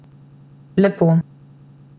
Lepo.